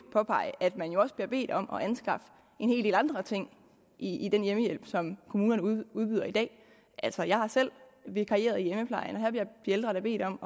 påpege at man jo også bliver bedt om at anskaffe en hel del andre ting i den hjemmehjælp som kommunerne udbyder i dag altså jeg har selv vikarieret i hjemmeplejen og her bliver de ældre da bedt om